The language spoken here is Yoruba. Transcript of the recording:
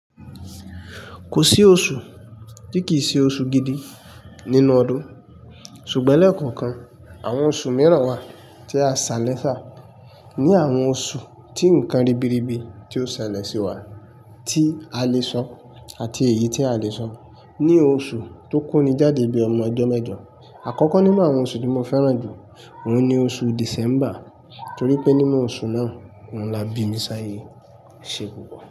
Kò sí oṣù tí kì í ṣe oṣù gidi nínú ọdún, ṣùgbọ́n lẹ́ẹ̀ko kan, àwọn oṣù mìíràn wà tí a ṣàlẹ̀sá. Ni àwọn oṣù tí ǹkan ribiribi tí ó ṣẹlẹ̀ sí wa, tí a lè sọ àti èyí tí a lè sọ ni oṣù tó konni jáde bíi ọmọ ẹjọ mẹ́jọ, àkọ́kọ́ nínú àwọn oṣù tí mo fẹ́ràn jù òun ni oṣù December, torí pé nínú oṣù náà, òun ni a bí mi sí ayé, ẹ́ ṣe púpọ̀.